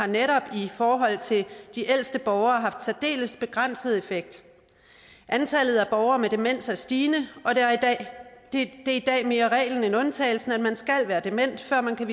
netop i forhold til de ældste borgere har haft særdeles begrænset effekt antallet af borgere med demens er stigende og det er i dag mere reglen end undtagelsen at man skal være dement før man kan